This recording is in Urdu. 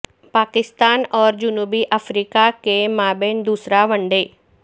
پاکستان اور جنوبی افریقہ کے مابین دوسرا ون ڈے